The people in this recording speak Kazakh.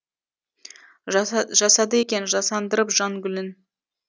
жасады екен жасандырып жан гүлін